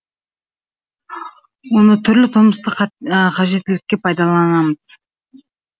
оны түрлі тұрмыстық қажеттілікке пайдаланамыз